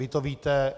Vy to víte.